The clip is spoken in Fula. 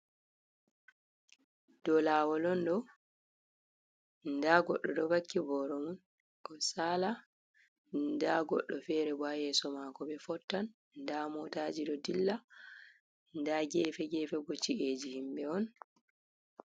Dolawol on ɗo, da goɗɗo ɗo vakki boro mun oɗo saala da goɗɗo fere bo haa yeso maako ɓe fottan da motaji ɗo dilla, daa gefe-gefe bo ci’eji himɓe on.